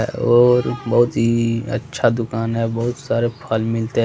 और बहुत ही अच्छा दुकान है बहुत सारे फल मिलते--